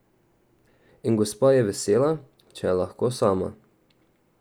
Gospa Tina je vesela, če je lahko sama.